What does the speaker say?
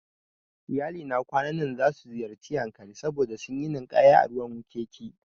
Iyalina kwanan nan zasu ziyarci Yankari saboda suyi ninkaya a ruwan wkiki